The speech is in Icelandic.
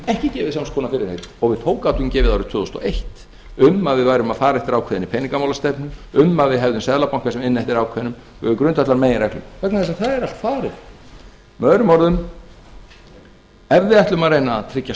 ekki gefið sams konar fyrirheit og við þó gátum gefið tvö þúsund og eitt um að við værum að fara eftir ákveðinni peningamálastefnu um að við hefðum seðlabanka sem ynni eftir ákveðnum grundvallarmeginreglum vegna þess að það er allt farið með öðrum orðum ef við ætlum að reyna að tryggja